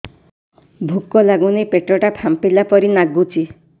ଭୁକ ଲାଗୁନି ପେଟ ଟା ଫାମ୍ପିଲା ପରି ନାଗୁଚି